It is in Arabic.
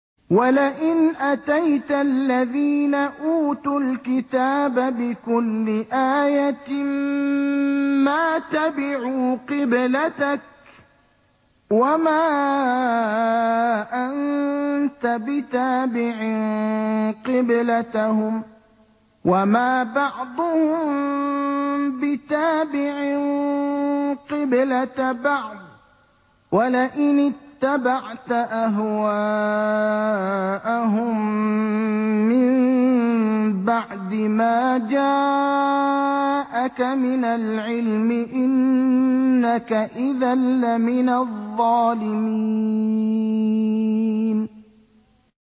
وَلَئِنْ أَتَيْتَ الَّذِينَ أُوتُوا الْكِتَابَ بِكُلِّ آيَةٍ مَّا تَبِعُوا قِبْلَتَكَ ۚ وَمَا أَنتَ بِتَابِعٍ قِبْلَتَهُمْ ۚ وَمَا بَعْضُهُم بِتَابِعٍ قِبْلَةَ بَعْضٍ ۚ وَلَئِنِ اتَّبَعْتَ أَهْوَاءَهُم مِّن بَعْدِ مَا جَاءَكَ مِنَ الْعِلْمِ ۙ إِنَّكَ إِذًا لَّمِنَ الظَّالِمِينَ